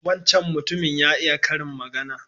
Wancan mutumin ya iya karin magana.